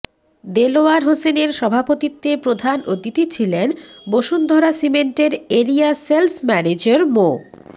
দেলোয়ার হোসেনের সভাপতিত্বে প্রধান অতিথি ছিলেন বসুন্ধরা সিমেন্টের এরিয়া সেলস ম্যানেজার মো